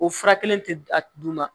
O fura kelen tɛ d'u ma